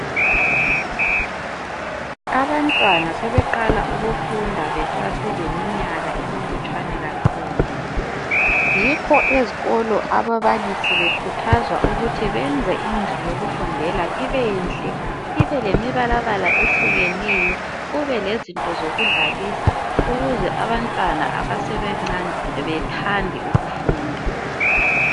Abantwana sebeqala ukufunda beseseleminyaka emilutshwana kakhulu , yikho ezikolo ababalisi bekhuthazwa benze indlu yokufundela ibenhle ibelemibalabala ehlukeneyo kube lezinto zokudlalisa ukuze abantwana abasebancane bethande ukufunda